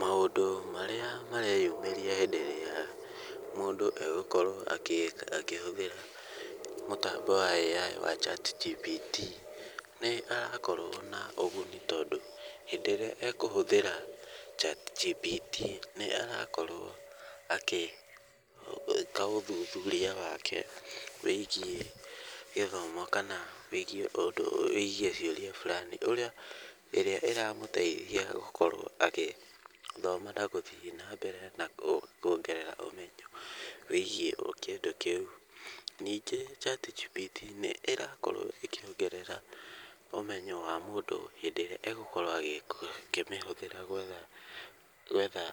Maũndũ marĩa mareyumĩria hĩndĩ ĩrĩa mũndũ egũkorwo akĩhũthĩra mũtambo wa AI wa ChatGPT, nĩ harakorwo na ũguni tondũ hĩndĩ ĩrĩa ekũhũthĩra ChatGPT nĩ arakorwo agĩĩka ũthuthuria wake wĩgiĩ gĩthomo kana wĩgiĩ ciũria fulani, ĩrĩa ĩramũteithia gũkorwo agĩthoma na gũthiĩ nambere na kuongerera ũmenyo wĩgiĩ kĩndũ kĩu. Ningĩ ChatGPT nĩ ĩrakorwo ĩkĩongerera ũmenyo wa mũndũ hĩndĩ ĩrĩa egũkorwo akĩmĩhũthĩra gwetha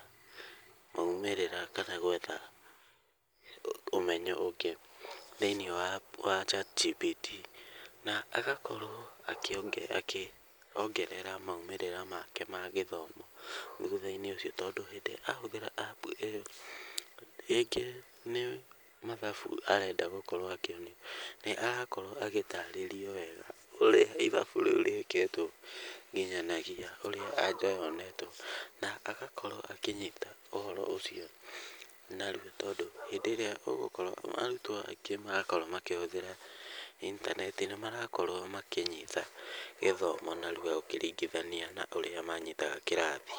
maumĩrĩra kana gwetha ũmenyo ũngĩ thĩinĩ wa ChatGPT. Na agakorwo akĩongerera maumĩrĩra make ma gĩthomo thutha-inĩ ũcio tondũ hĩndĩ ĩrĩa ahũthĩra App ĩyo, rĩngĩ nĩ mathabu arenda gũkorwo akĩonio nĩ arakorwo agĩtaarĩrio wega ũrĩa ithabu rĩu rĩĩkĩtwo na nginyanagia ũrĩa answer yonetwo. Na agakorwo akĩnyita ũhoro ũcio narua tondũ hĩndĩ ĩrĩa ũgũkorwo arutwo angĩ megũkorwo makĩhũthĩra intaneti, nĩ marakorwo makĩnyita gĩthomo narua ũkĩringithania na ũrĩa manyitaga kĩrathi.